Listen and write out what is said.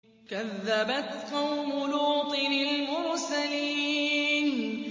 كَذَّبَتْ قَوْمُ لُوطٍ الْمُرْسَلِينَ